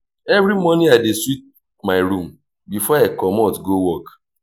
every morning i dey sweep my room before i comot go work.